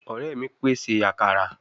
Ore mi pese akara